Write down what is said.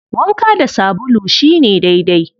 Wanka da sabulu shi ne daidai.